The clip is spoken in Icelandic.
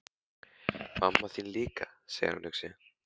Mamma þín líka, segir hann hugsi.